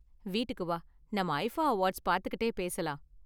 வீட்டுக்கு வா, நாம ஐஃபா அவார்ட்ஸ் பாத்துகிட்டே பேசலாம்.